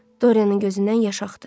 Dorianın gözündən yaş axdı.